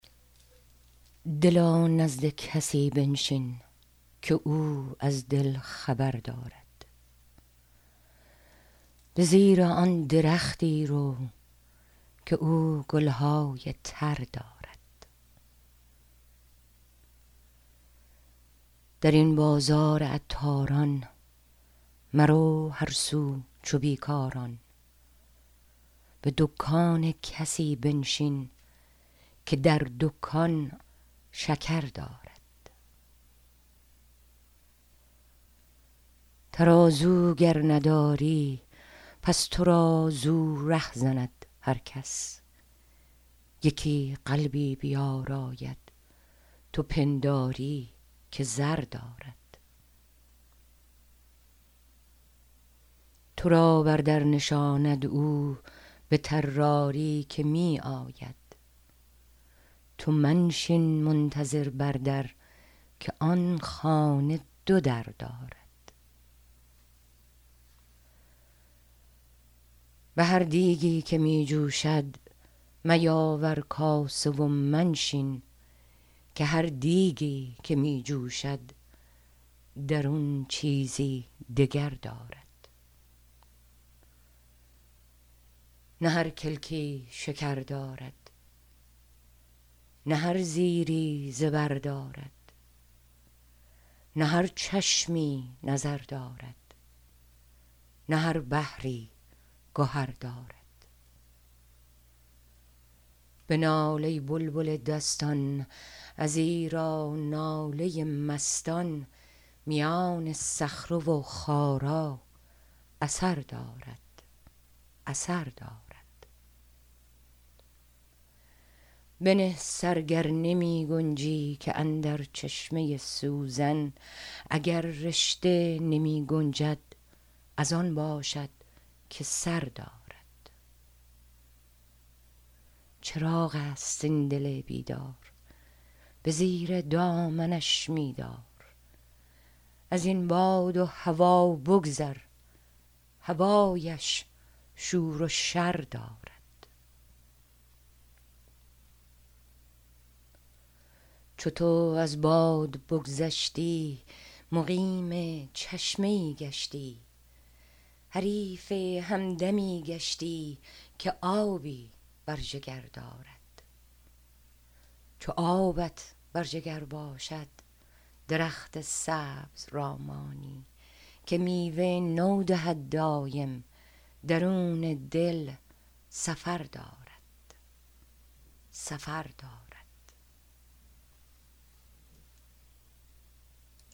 دلا نزد کسی بنشین که او از دل خبر دارد به زیر آن درختی رو که او گل های تر دارد در این بازار عطاران مرو هر سو چو بی کاران به دکان کسی بنشین که در دکان شکر دارد ترازو گر نداری پس تو را زو ره زند هر کس یکی قلبی بیاراید تو پنداری که زر دارد تو را بر در نشاند او به طراری که می آید تو منشین منتظر بر در که آن خانه دو در دارد به هر دیگی که می جوشد میاور کاسه و منشین که هر دیگی که می جوشد درون چیزی دگر دارد نه هر کلکی شکر دارد نه هر زیری زبر دارد نه هر چشمی نظر دارد نه هر بحری گهر دارد بنال ای بلبل دستان ازیرا ناله مستان میان صخره و خارا اثر دارد اثر دارد بنه سر گر نمی گنجی که اندر چشمه سوزن اگر رشته نمی گنجد از آن باشد که سر دارد چراغ است این دل بیدار به زیر دامنش می دار از این باد و هوا بگذر هوایش شور و شر دارد چو تو از باد بگذشتی مقیم چشمه ای گشتی حریف همدمی گشتی که آبی بر جگر دارد چو آبت بر جگر باشد درخت سبز را مانی که میوه نو دهد دایم درون دل سفر دارد